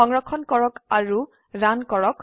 সংৰক্ষণ কৰক আৰু ৰান কৰক